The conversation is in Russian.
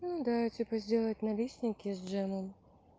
ну да типа сделать налистники с джемом